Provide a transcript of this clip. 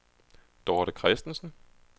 Dorte Kristensen